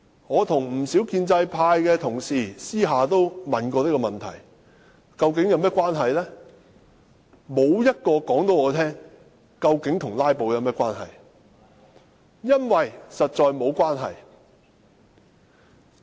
我向不少建制派同事私下問過，但沒有人可以告訴我這究竟和"拉布"有何關係，因為實在沒有關係。